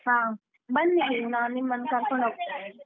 ಹಾ ಬನ್ನಿ, ಇಲ್ಲಿ ನಾನ್ ನಿಮ್ಮನ್ ಕರ್ಕೊಂಡ್ ಹೋಗ್ತೇನೆ.